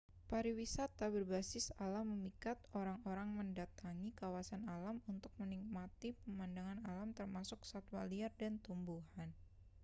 pariwisata berbasis alam memikat orang-orang mendatangi kawasan alam untuk menikmati pemandangan alam termasuk satwa liar dan tumbuhan